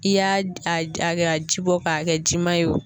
I y'a a a kɛ ji bɔ k'a kɛ jima ye wo